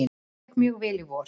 Það gekk mjög vel í vor.